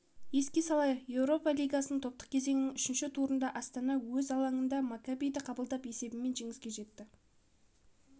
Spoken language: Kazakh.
еске салайық еуропа лигасы топтық кезеңінің үшінші турында астана өз алаңында маккабиді қабылдап есебімен жеңіске жетті